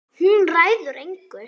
Hún ræður engu.